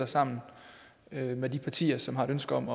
sammen med de partier som har et ønske om